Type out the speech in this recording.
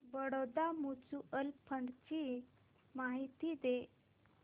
Baroda mutual fund ची माहिती दे